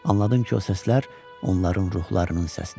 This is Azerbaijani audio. Anladım ki, o səslər onların ruhlarının səsidir.